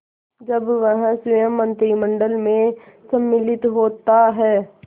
जब वह स्वयं मंत्रिमंडल में सम्मिलित होता है